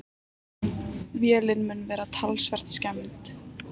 Vélin mun vera talsvert skemmd.